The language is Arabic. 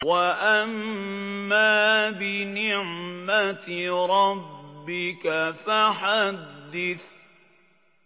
وَأَمَّا بِنِعْمَةِ رَبِّكَ فَحَدِّثْ